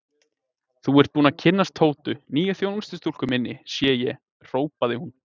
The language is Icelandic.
Þú ert búinn að kynnast Tótu, nýju þjónustustúlkunni minni, sé ég hrópaði hún.